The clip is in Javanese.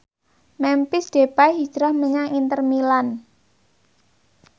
Memphis Depay hijrah menyang Inter Milan